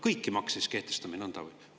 Kõiki makse kehtestame siis nõnda või?